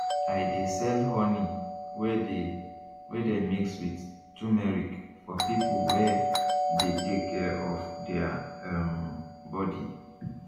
i de sell honey wey dey wey dey mix with tumeric for people wey de take care of their um body